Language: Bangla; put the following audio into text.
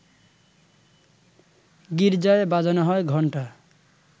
গির্জায় বাজানো হয় ঘণ্টা